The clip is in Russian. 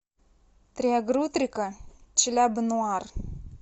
триагрутрика челяба нуар